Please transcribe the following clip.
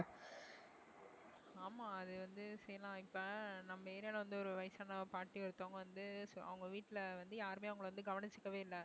ஆமா அது வந்துசரி நான் இப்ப நம்ம area ல வந்து ஒரு வயசான பாட்டி ஒருத்தவங்க வந்து so அவங்க வீட்டுல வந்து யாருமே அவங்களை வந்து கவனிச்சுக்கவே இல்ல